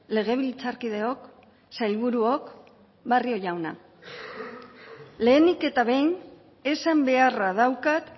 legebiltzarkideok sailburuok barrio jauna lehenik eta behin esan beharra daukat